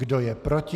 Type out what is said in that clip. Kdo je proti?